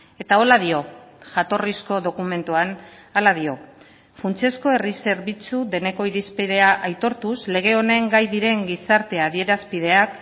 eta horrela dio jatorrizko dokumentuan hala dio funtsezko herri zerbitzu deneko irizpidea aitortuz lege honen gai diren gizarte adierazpideak